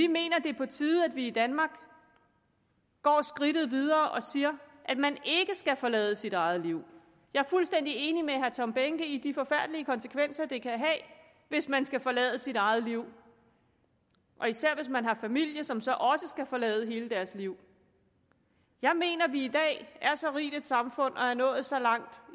mener det er på tide vi i danmark går skridtet videre og siger at man ikke skal forlade sit eget liv jeg er fuldstændig enig med herre tom behnke i de forfærdelige konsekvenser det kan have hvis man skal forlade sit eget liv og især hvis man har familie som så også skal forlade hele deres liv jeg mener vi i dag er så rigt et samfund og er nået så langt